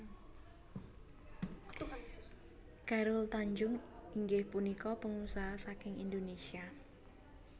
Chairul Tanjung inggih punika pangusaha saking Indonesia